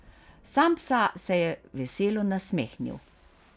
Sampsa se je veselo nasmehnil.